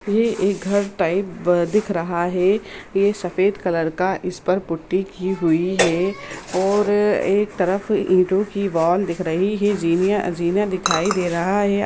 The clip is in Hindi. ये एक घर टाइप अ-दिख रहा है ये सफेद कलर का इस पर पुट्टी की हुई है और एक तरफ ईटो की वाल दिख रही है रिनिया जीने-जीना दिखाई दे रहा है ।